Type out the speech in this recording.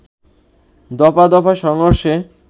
দফা দফায় সংঘর্ষে